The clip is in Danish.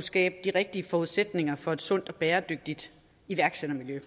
skabe de rigtige forudsætninger for et sundt og bæredygtigt iværksættermiljø